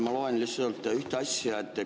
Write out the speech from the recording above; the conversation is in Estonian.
Ma loen lihtsalt ühte asja.